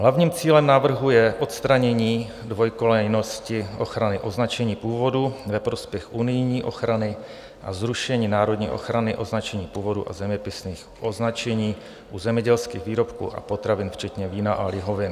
Hlavním cílem návrhu je odstranění dvojkolejnosti ochrany označení původu ve prospěch unijní ochrany a zrušení národní ochrany označení původu a zeměpisných označení u zemědělských výrobků a potravin včetně vína a lihovin.